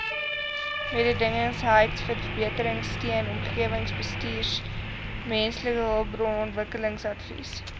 mededingendheidsverbeteringsteun omgewingsbestuursteun mensehulpbronontwikkelingsadvies